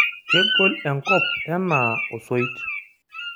Kegol enkop enaa osoit.